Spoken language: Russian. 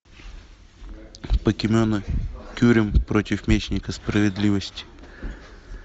покемоны кюрем против мечника справедливости